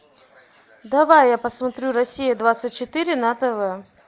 давай я посмотрю россия двадцать четыре на тв